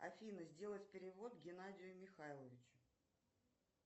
афина сделать перевод геннадию михайловичу